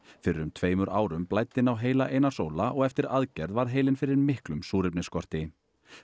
fyrir um tveimur árum blæddi inn á heila Einars Óla og eftir aðgerð varð heilinn fyrir miklum súrefnisskorti